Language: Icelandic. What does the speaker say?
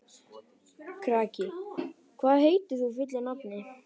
Kraki, hvað heitir þú fullu nafni?